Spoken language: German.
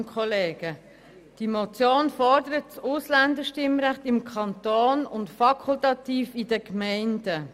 Die Motion fordert das Ausländerstimmrecht im Kanton und fakultativ in den Gemeinden.